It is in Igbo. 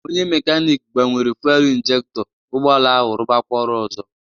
Onye mekanic gbanwere fuelu injekto, ụgbọala ahụ rubakwa ọrụ ozo